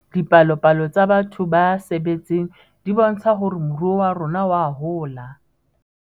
Dipalopalo tsa batho ba sebetseng di bontsha hore moruo wa rona oa hola